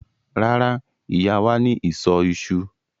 Rárá, Ìyá wà ní ìsọ̀ iṣu.